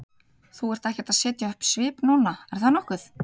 Þú ert ekkert að setja upp svip núna, er það nokkuð?